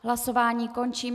Hlasování končím.